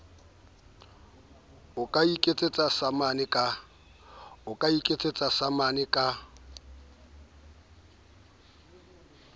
o ka ikisetsa samane ka